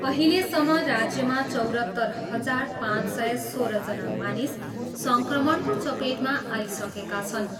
अहिलेसम्म राज्यमा चौरत्तर हजार पाँच सय सोह्रजना मानिस सङ्क्रमणको चपेटमा आइसकेका छन्।